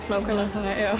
nákvæmlega